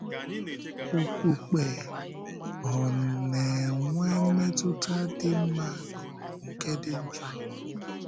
Okpukpe — Ọ̀ na-enwe mmetụ́tà dị mma ka ọ bụ nke dị njọ?